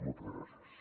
moltes gràcies